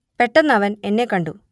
പെട്ടെന്ന് അവൻ എന്നെ കണ്ടു